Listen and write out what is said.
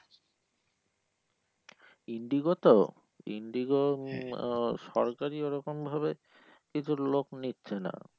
Indigo তো Indigo উম আহ সরকারি ওরকম ভাবে কিছু লোক নিচ্ছে না।